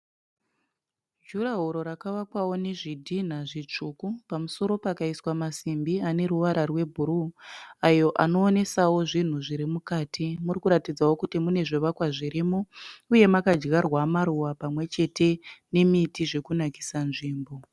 Jurahoro rakavakawo nezvidhinha zvitsvuku pamusoro pakaiswa masimbi ane ruvara rwebhuruu ayo anoonesawo zvinhu zviri mukati. Muri kuratidzawo kuti mune zvivakwa zvirimo uye makadyarwa maruva pamwechete nemitii zvokunakisa nzvimbo.